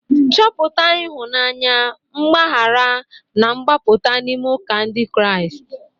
Chọpụta ịhụnanya, mgbaghara, na mgbapụta n'ime ụka Ndị Kraịst.